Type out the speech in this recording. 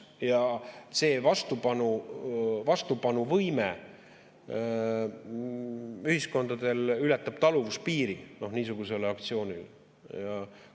Ja see vastupanuvõime ühiskondadel ületab taluvuspiiri niisuguse aktsiooni puhul.